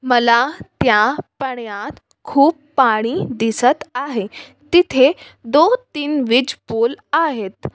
मला त्या पाण्यात खूप पाणी दिसत आहे तिथे दो-तीन पूल आहेत.